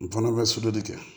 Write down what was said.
N fana bɛ sodɔ de kɛ